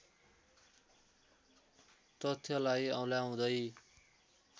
तथ्यलाई औँल्याउदै